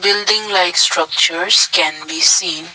building like structures can be seen.